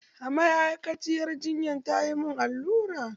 A ma'aikaciyar jinyan tayi mun allura